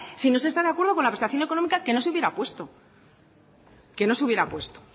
si no se está de acuerdo con la prestación económica que no se hubiera puesto que no se hubiera puesto